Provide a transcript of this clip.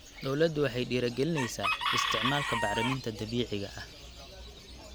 Dawladdu waxay dhiirigelinaysaa isticmaalka bacriminta dabiiciga ah.